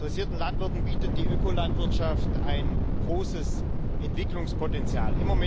Interessierten Landwirten bietet die Ökolandwirtschaft ein großes Entwicklungspotenzial.